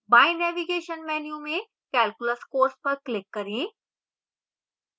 बाएँ navigation menu में calculus course पर click करें